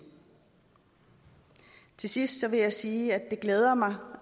til sidst vil jeg sige at det glæder mig